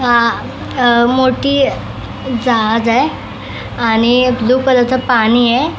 अह मोठी जहाज आहे आणि ब्ल्यू कलर च पाणी आहे.